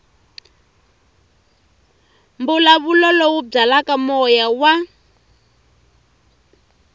mbulavulo lowu byalaka moya wa